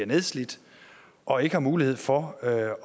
nedslidt og ikke har mulighed for at have